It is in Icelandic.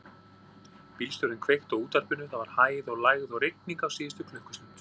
Bílstjórinn kveikti á útvarpinu: það var hæð og lægð og rigning á síðustu klukkustund.